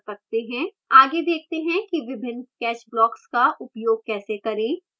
आगे देखते हैं कि विभिन्न catch blocks का उपयोग कैसे करें